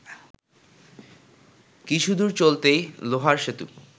কিছুদূর চলতেই লোহার সেতু